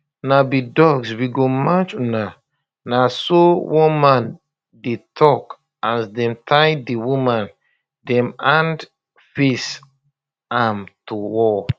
una be dogs we go match una na so one man dey tok as dem tie di women dem hand face am to wall